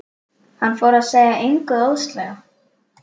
Hann fór sér að engu óðslega.